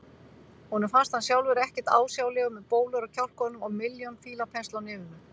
Honum finnst hann sjálfur ekkert ásjálegur með bólur á kjálkunum og milljón fílapensla á nefinu.